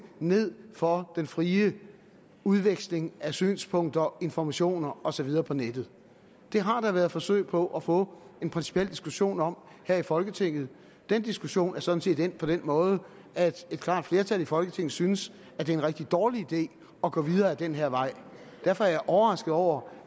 ned for den frie udveksling af synspunkter informationer og så videre på nettet det har der været forsøg på at få en principiel diskussion om her i folketinget og den diskussion er sådan set endt på den måde at et klart flertal i folketinget synes at det er en rigtig dårlig idé at gå videre ad den her vej derfor er jeg overrasket over